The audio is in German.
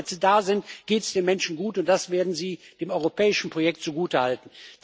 Wenn Arbeitsplätze da sind, geht es den Menschen gut, und das werden sie dem europäischen Projekt zugutehalten.